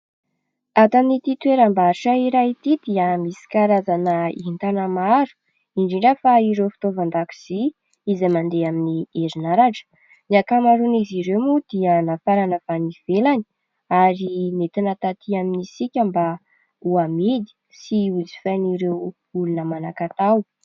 Ato amin'ity toeram-barotra iray ity dia misy karazana entana maro indrindra fa ireo fitaovan-dakozia izay mandeha amin'ny herinaratra. Ny ankamaroan'izy ireo moa dia nafarana avy any ivelany ary nentina tatỳ amintsika mba ho amidy sy ho jifain'ireo olona manan-katao.